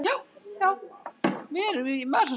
Eron, lækkaðu í hátalaranum.